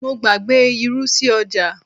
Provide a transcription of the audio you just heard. mo gbàgbé irú sí ọjà